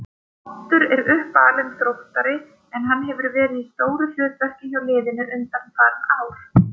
Oddur er uppalinn Þróttari en hann hefur verið í stóru hlutverki hjá liðinu undanfarin ár.